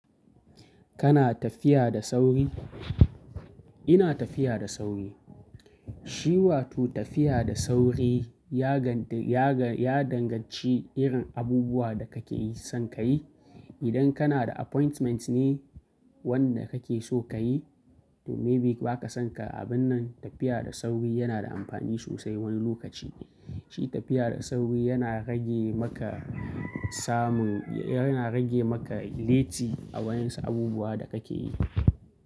Kana tafiya da sauri? Ina tafiya da sauri. Shi wato tafiya da sauri ya gan- ya ga- ya danganci irin abubuwa da kake son ka yi. Idan kana da appointment ne wanda kake so ka yi, to maybe ba ka son ka, abun nan tafiya da sauri yana da amfani sosai wani lokaci. Shi tafiya da sauri yana rage maka samun, yana rage maka lati a waɗansu abubuwa da kake yi.